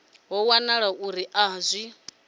ho wanala uri a zwi